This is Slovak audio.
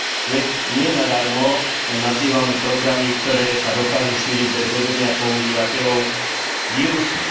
Veď nie nadarmo nazývame programy, ktoré sa dokážu šíriť bez vedomia používateľov, vírusmi.